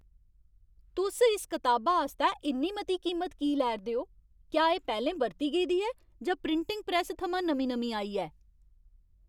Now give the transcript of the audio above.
तुस इस कताबा आस्तै इन्नी मती कीमत की लै 'रदे ओ? क्या एह् पैह्लें बरती गेदी ऐ जां प्रिंटिंग प्रैस्स थमां नमीं नमीं आई ऐ?